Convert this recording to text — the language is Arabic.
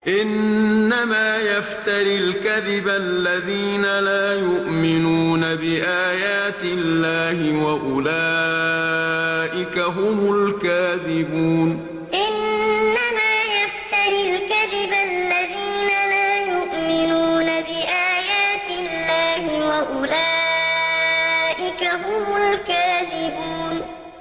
إِنَّمَا يَفْتَرِي الْكَذِبَ الَّذِينَ لَا يُؤْمِنُونَ بِآيَاتِ اللَّهِ ۖ وَأُولَٰئِكَ هُمُ الْكَاذِبُونَ إِنَّمَا يَفْتَرِي الْكَذِبَ الَّذِينَ لَا يُؤْمِنُونَ بِآيَاتِ اللَّهِ ۖ وَأُولَٰئِكَ هُمُ الْكَاذِبُونَ